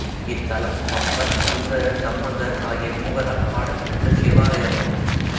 இத்தலம் அப்பர் சுந்தரர் சம்பந்தர் ஆகிய மூவரால் பாடல் பெற்ற சிவாலயமாகும்